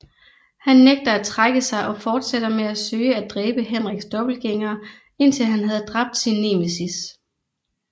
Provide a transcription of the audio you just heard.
Han nægter at trække sig og fortsætter med at søge at dræbe Henriks dobbeltgængere indtil han havde dræbt sin nemesis